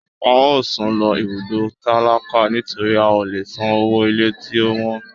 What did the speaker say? A o sún lo ibùgbé tálákà nitori a o lè sán ọwọ ilé tí o wọ́n.